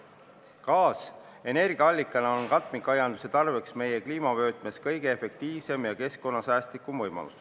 Gaas energiaallikana on katmikaianduse tarbeks meie kliimavöötmes kõige efektiivsem ja keskkonnasäästlikum võimalus.